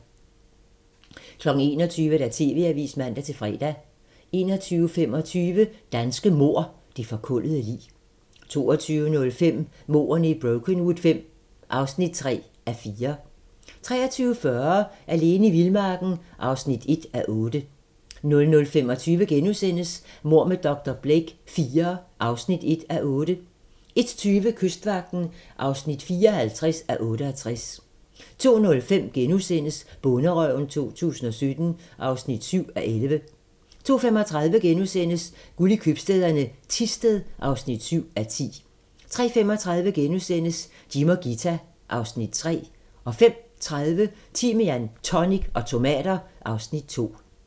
21:00: TV-avisen (man-fre) 21:25: Danske mord - Det forkullede lig 22:05: Mordene i Brokenwood V (3:4) 23:40: Alene i vildmarken (1:8) 00:25: Mord med dr. Blake IV (1:8)* 01:20: Kystvagten (54:68) 02:05: Bonderøven 2017 (7:11)* 02:35: Guld i købstæderne - Thisted (7:10)* 03:35: Jim og Ghita (Afs. 3)* 05:30: Timian, tonic og tomater (Afs. 7)